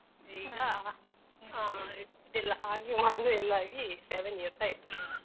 ಈಗ ಹ ಅಡ್ಡಿಯಿಲ್ಲ ಹಾಗೆ ಮದುವೆ ಎಲ್ಲ ಆಗಿ seven years ಆಯ್ತು.